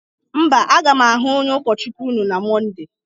mba, a ga'm ahụ onye ụkọchukwuna na Mọnde